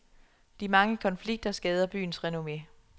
De mange konflikter skader byens renomme.